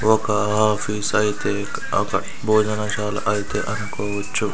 ఒక ఆఫీస్ అయితే ఒక భోజన శాల అయితే అనుకోవచ్చు.